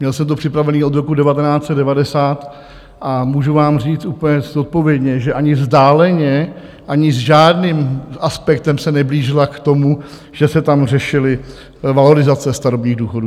Měl jsem to připravené od roku 1990 a můžu vám říct úplně zodpovědně, že ani vzdáleně, ani s žádným aspektem se neblížila k tomu, že se tam řešily valorizace starobních důchodů.